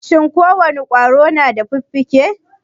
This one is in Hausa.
Shin ko wane ƙwaro na da fiffike?